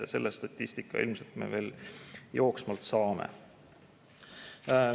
Aga selle statistika ilmselt me veel jooksvalt saame.